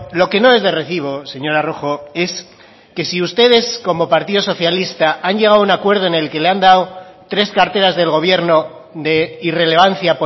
lo que no es de recibo señora rojo es que si ustedes como partido socialista han llegado a un acuerdo en el que le han dado tres carteras del gobierno de irrelevancia